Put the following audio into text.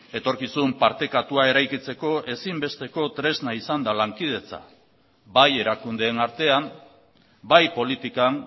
etorkizun partekatua eraikitzeko ezin besteko tresna izan da lankidetza bai erakundeen artean bai politikan